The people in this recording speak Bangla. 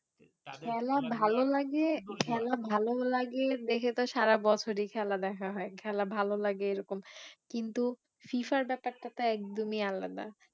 খেলা ভালো লাগে, খেলা ভালো লাগে দেখে তো সারা বছরই খেলা দেখা হয়ে খেলা ভালো লাগে এরকম কিন্তু FIFA র ব্যাপারটা তো একদমই আলাদা